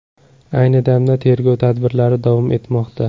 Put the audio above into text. Ayni damda tergov tadbirlari davom etmoqda.